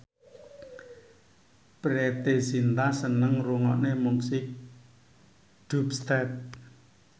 Preity Zinta seneng ngrungokne musik dubstep